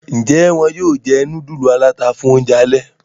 Njé wón yóò jé nudulu alata fún oúnjẹ alè?